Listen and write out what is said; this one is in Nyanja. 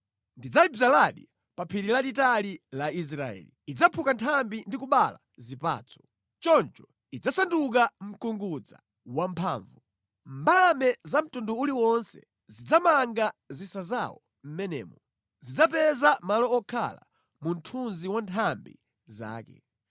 Ndidzayidzaladi pa phiri lalitali la Israeli. Idzaphuka nthambi ndi kubereka zipatso. Choncho idzasanduka mkungudza wamphamvu. Mbalame za mtundu uliwonse zidzamanga zisa zawo mʼmenemo; zidzapeza malo okhala mu mthunzi wa nthambi zake.